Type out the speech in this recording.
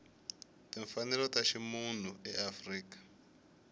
timfanelo ta ximunhu ya afrika